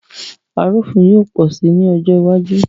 Arúfin yóò pọ̀ sí ní ọjọ́ iwájú